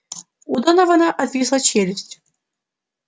у донована отвисла челюсть